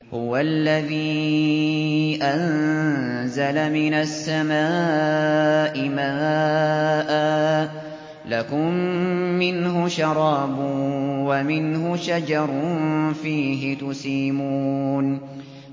هُوَ الَّذِي أَنزَلَ مِنَ السَّمَاءِ مَاءً ۖ لَّكُم مِّنْهُ شَرَابٌ وَمِنْهُ شَجَرٌ فِيهِ تُسِيمُونَ